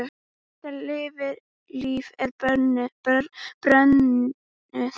Birta Líf er börnuð.